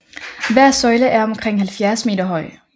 Hver søjle er omkring 70 meter høj